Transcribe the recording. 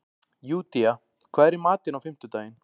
Júdea, hvað er í matinn á fimmtudaginn?